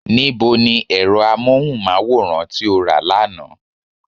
Ní bo ni ẹ̀rọ amóhùnmáwòrán tí o rà lánàá?